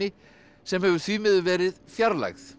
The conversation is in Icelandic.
sem hefur því miður verið fjarlægð